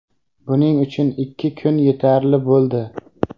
Buning uchun ikki kun yetarli bo‘ldi.